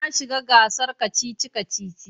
Na shiga gasar kacici-kaci.